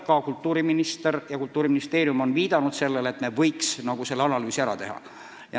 Ka kultuuriminister ja Kultuuriministeerium on viidanud, et me võiks selle analüüsi ära teha.